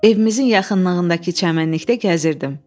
Evimizin yaxınlığındakı çəmənlikdə gəzirdim.